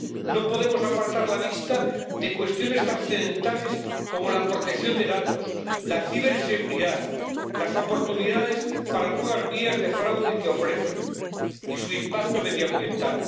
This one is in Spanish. No podemos apartar la vista de cuestiones trascendentales como la protección de datos, la ciberseguridad, las oportunidades para nuevas vías de fraude que ofrece y su impacto medioambiental.